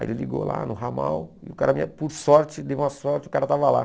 Aí ele ligou lá no ramal e o cara, por sorte, deu uma sorte, o cara estava lá.